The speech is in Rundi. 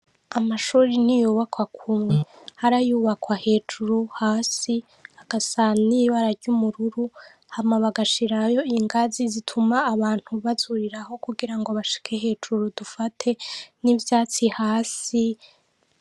Amashure ntiyubakwa kumwe. Hari ayubakwa hejuru, hasi, agasa n'ibara ry'ubururu hama bagashirayo ingazi zituma abantu bazurirako kugira ngo bashike hejuru dufate, n'ivyatsi hasi.